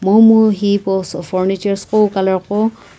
momu furnitures qowu colour qo.